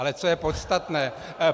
Ale co je podstatné.